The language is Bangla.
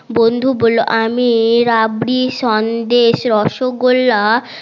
বন্ধু বললো আমি রাবড়ি সন্দেশ রসগোল্লা